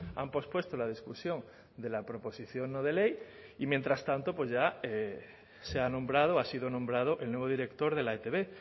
han pospuesto la discusión de la proposición no de ley y mientras tanto pues ya se ha nombrado ha sido nombrado el nuevo director de la etb